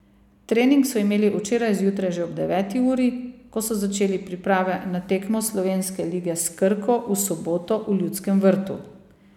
Trening so imeli včeraj zjutraj že ob deveti uri, ko so začeli priprave na tekmo slovenske lige s Krko v soboto v Ljudskem vrtu.